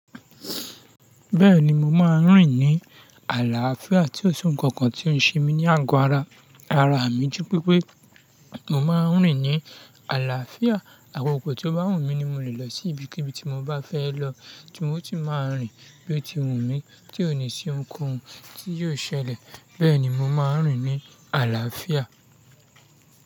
Bẹ́ẹ̀ni mo máa ń rìn ní àlàáfíà tí ó sún nnkan kan tí ó ń ṣe mí ní àgọ́ ara. Ara mi ju wípé mo máa ń rìn ní àlàáfíà, àkòkò tí ó bá wù mí ni mo lè lọ sí ibikíbi tí mo bá fẹ́ lọ, tì mo ti máa ń rìn bí ó ti wù mí tí ó ní sí ohunkóhun tí yóò ṣẹlẹ̀. Bẹ́ẹ̀ni mo máa ń rìn ní àlàáfíà.